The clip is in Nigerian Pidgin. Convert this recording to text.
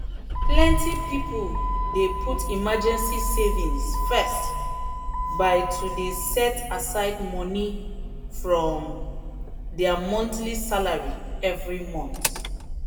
plenty people dey put emergency savings first by to dey set aside small money from their monthly salary every month.